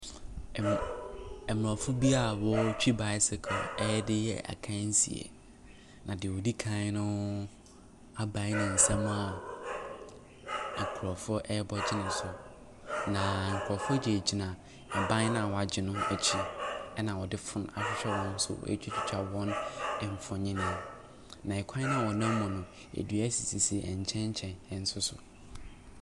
Ɛm…aborɔfo bi a wɔretwi bicycle de reyɛ akansie, na deɛ ɔdi kan no abae ne nsam a nkurɔfoɔ rebɔ agye no so, na nkurɔfoɔ gyinagyina ban no a wɔagye no akyi, na wɔde phone ahwɛ wɔn so retwitwa wɔn mfonin, na kwan a wɔnam mu no, dua sisi nkyɛnkyɛn nso so.